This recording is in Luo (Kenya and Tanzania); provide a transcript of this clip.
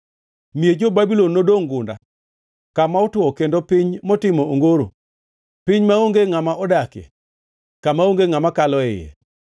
Miech jo-Babulon nodongʼ gunda, kama otwo kendo piny motimo ongoro, piny maonge ngʼama odakie, kama onge ngʼama kalo e iye.